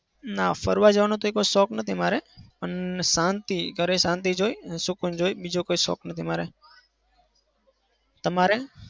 ના ફરવા જવાનો તે કોઈ શોખ નથી મારે. પણ શાંતિ ઘરે શાંતિ જોઈ, સુકૂન જોઈ. બીજો કોઈ શોખ નથી મારે. તમારે?